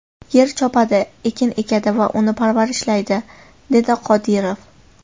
Yer chopadi, ekin ekadi va uni parvarishlaydi”, dedi Qodirov.